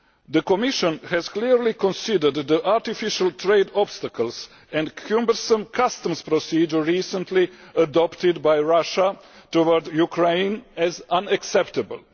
The Commission clearly considers the artificial trade obstacles and cumbersome customs procedures recently adopted by Russia towards Ukraine as unacceptable.